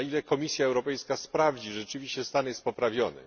Na ile Komisja Europejska sprawdzi, czy rzeczywiście stan jest poprawiony.